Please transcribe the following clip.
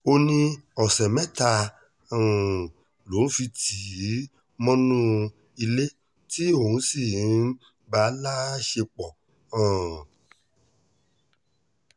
ó ní ọ̀sẹ̀ mẹ́ta um lòun fi tì í mọ́nú ilé tí òun sì ń bá a láṣepọ̀ um